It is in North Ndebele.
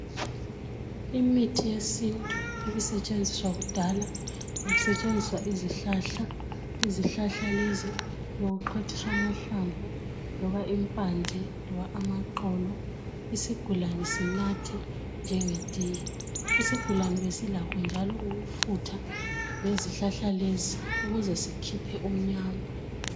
Imithi yesintu ebisetshenziswa kudala kusetshenziswa izihlahla. Izihlahla lezi bekuxhwathiswa amahlamvu loba impande loba amaxolo, isigulani sinathe njengetiye. Isigulani besilakho njalo ukufutha ngezihlahla lezi ukuze sikhiphe umnyama.